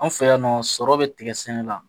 An fɛ yan nɔ sɔrɔ bɛ tigɛ sɛnɛ la